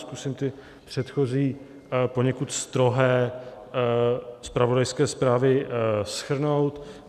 Zkusím ty předchozí poněkud strohé zpravodajské zprávy shrnout.